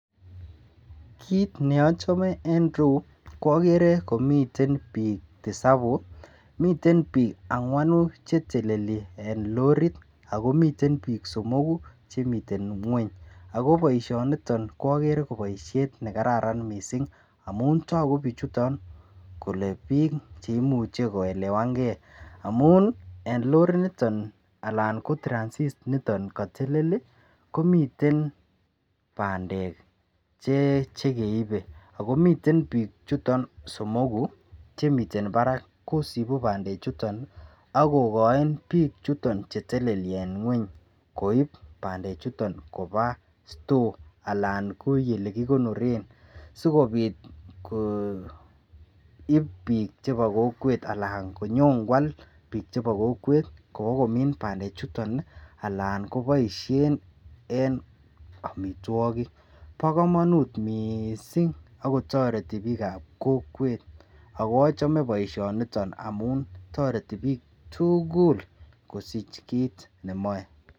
Kiit neachame reu ko agere komiten piik tisapu miten biik angwanu chetelelien lorit alkomiten biik somoku chemiten ng'weny ago boisionitot ko agere ko boisiet negararan mising amun togu bichuton kole biik cheimuche koelewangei amun en Lori niten alan ko transit niton katelel komiten pandek chekeibei akomiten biik chuton somoku chemiten barak koosipu bandechuto akokoi piik chuton cheteleli en ing'weny koip pandechuto koba store ana ko yekikonoren sikopit koip piik chebo kokwet alan konyokwal piik chebo kokwet kou komin pandechuto alan koboishen en amitwokik. po komonut mising akotoreti biik ap kokwet ako achame poishoniton amun toreti piik tugul kosich kiit nemoe.